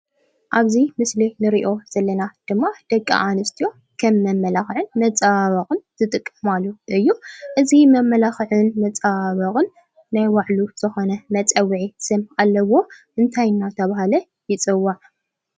ኣብዚ ምስሊ ንሪኦ ዘለና ድማ ደቂ ኣንስትዮ ከም መመላክዒ መፀባበቂ ዝጥቀማሉ ኮይኑ እዚ መመላክዕን መፀባበቅን